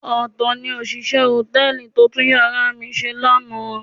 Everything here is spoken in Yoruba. Ọ̀tọ̀ ni òṣìṣẹ́ hòtẹ́ẹ̀lì tó tún yàrá mi ṣe lánàá.